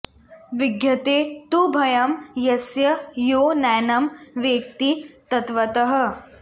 विद्यते तु भयं यस्य यो नैनं वेत्ति तत्त्वतः